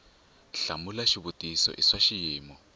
hlamula xivutiso i swa xiyimo